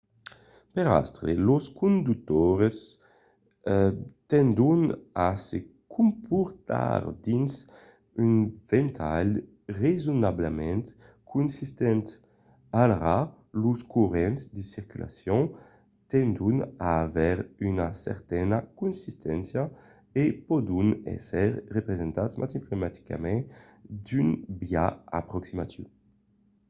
per astre los conductors tendon a se comportar dins un ventalh rasonablament consistent; alara los corrents de circulacion tendon a aver una certana consisténcia e pòdon èsser representats matematicament d'un biais aproximatiu